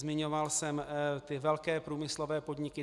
Zmiňoval jsem ty velké průmyslové podniky.